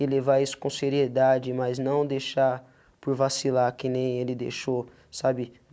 E levar isso com seriedade, mas não deixar por vacilar que nem ele deixou, sabe?